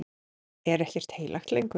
Er ekkert heilagt lengur?